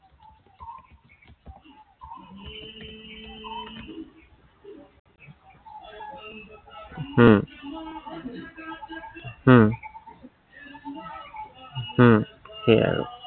হম উম উম সেয়াই আৰু।